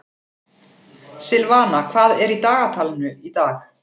Silvana, hvað er í dagatalinu í dag?